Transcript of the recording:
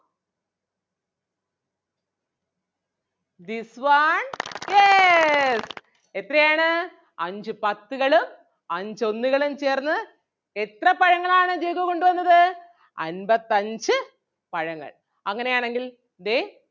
This one yes എത്രയാണ് അഞ്ചു പത്തുകളും അഞ്ചു ഒന്നുകളും ചേർന്ന് എത്ര പഴങ്ങൾ ആണ് ജഗ്ഗു കൊണ്ട് വന്നത് അൻപത്തഞ്ചു പഴങ്ങൾ. അങ്ങനെ ആണെങ്കിൽ ദേ